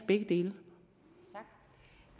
begge dele